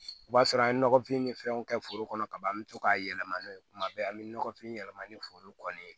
O b'a sɔrɔ an ye nɔgɔfin ni fɛnw kɛ foro kɔnɔ kaban an bɛ to k'a yɛlɛma n'o ye kuma bɛɛ an bɛ nɔgɔfin yɛlɛma ni foro kɔni ye